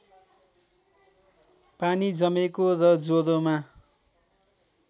पानी जमेको र ज्वरोमा